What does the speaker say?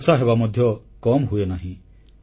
ବର୍ଷା ହେବା ମଧ୍ୟ କମ୍ ହୁଏନାହିଁ